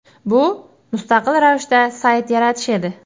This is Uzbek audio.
Bu – mustaqil ravishda sayt yaratish edi.